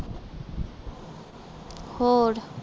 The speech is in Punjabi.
ਹੋਰ